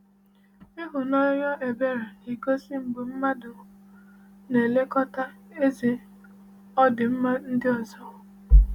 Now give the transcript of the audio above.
Ịhụnanya ebere na-egosi mgbe mmadụ na-elekọta ezi ọdịmma ndị ọzọ.